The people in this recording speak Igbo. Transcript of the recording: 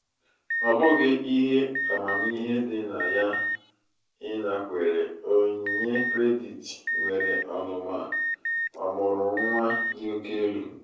ọ bụghị ihe amamihe dị na ya ịnakwere onyinye kredit nwere ọnụma ọmụrụ nwa dị oke elu.